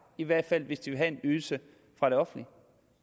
i hvert fald hvis de vil have en ydelse fra det offentlige